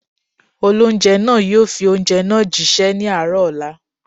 Olóunjẹ́ náà yóò fi oúnjẹ náà jí ṣẹ́ ní àárọ̀ ọ̀la